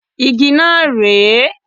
Igi náà ré è.